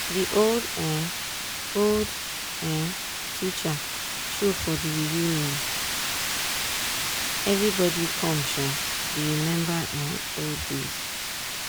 de old um old um teacher show for the reunion everybody come um dey remember um old days